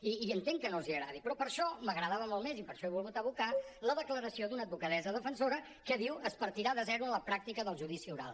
i entenc que no els agradi però per això m’agradava molt més i per això he volgut evocar la declaració d’una advocadessa defensora que diu es partirà de zero en la pràctica del judici oral